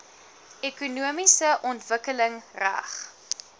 ekonomiese ontwikkeling reg